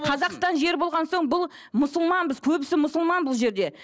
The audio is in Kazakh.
қазақстан жері болған соң бұл мұсылманбыз көбісі мұсылман бұл жерде